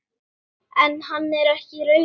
En hann er ekki rauður.